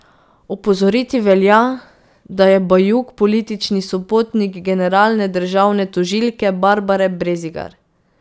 Opozoriti velja, da je Bajuk politični sopotnik generalne državne tožilke Barbare Brezigar.